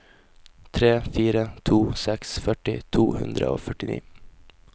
tre fire to seks førti to hundre og førtini